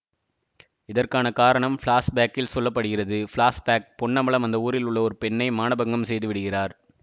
இதற்கான காரணம் பிளாஷ் பேக்கில் சொல்ல படுகிறது பிளாஷ் பேக் பொன்னம்பலம் அந்த ஊரில் உள்ள ஒரு பெண்ணை மானபங்கம் செய்து விடுகிறார்